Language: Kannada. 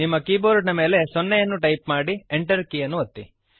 ನಿಮ್ಮ ಕೀಬೋರ್ಡ್ ನ ಮೇಲೆ 0 ಅನ್ನು ಟೈಪ್ ಮಾಡಿ Enter ಕೀಯನ್ನು ಒತ್ತಿರಿ